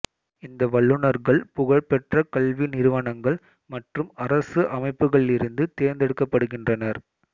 இந்த வல்லுனர்கள் புகழ்பெற்ற கல்வி நிறுவனங்கள் மற்றும் அரசு அமைப்புகளிலிருந்து தேர்ந்தெடுக்கப்படுகின்றனர்